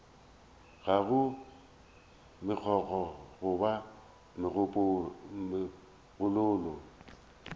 ga go megokgo goba megololo